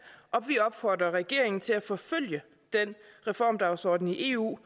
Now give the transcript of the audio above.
og vi opfordrer regeringen til at forfølge den reformdagsorden i eu